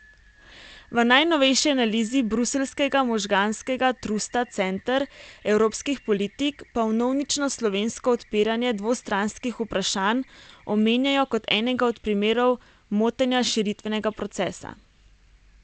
V najnovejši analizi bruseljskega možganskega trusta Center evropskih politik pa vnovično slovensko odpiranje dvostranskih vprašanj omenjajo kot enega od primerov motenja širitvenega procesa.